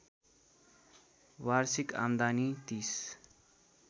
वार्षिक आम्दानी ३०